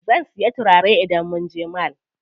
Zan siya turare idan munje mall.